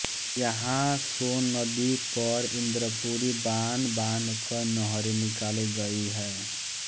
यहाँ सोन नदी पर इन्द्रपुरी बाँध बाँधकर नहरें निकाली गई हैं